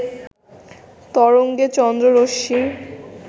তরঙ্গে চন্দ্ররশ্মি